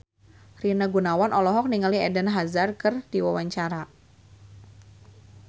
Rina Gunawan olohok ningali Eden Hazard keur diwawancara